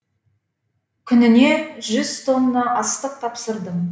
күніне жүз тонна астық тапсырдым